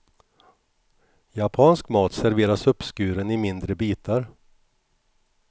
Japansk mat serveras uppskuren i mindre bitar.